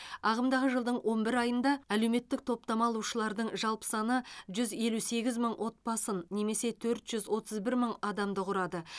ағымдағы жылдың он бір айында әлеуметтік топтама алушылардың жалпы саны жүз елу сегіз мың отбасын немесе төрт жүз отыз бір мың адамды құрады